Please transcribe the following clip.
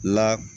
La